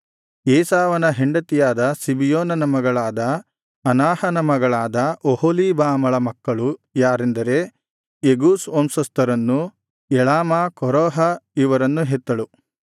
ಏಸಾವನ ಹೆಂಡತಿಯಾದ ಸಿಬಿಯೋನನ ಮಗಳಾದ ಅನಾಹನ ಮಗಳಾದ ಒಹೊಲೀಬಾಮಳ ಮಕ್ಕಳು ಯಾರೆಂದರೆ ಯೆಗೂಷ್ ವಂಶಸ್ಥರನ್ನು ಯಳಾಮ ಕೋರಹ ಇವರನ್ನು ಹೆತ್ತಳು